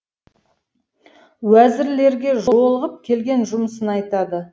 уәзірлерге жолығып келген жұмысын айтады